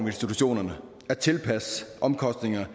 institutionerne at tilpasse omkostningerne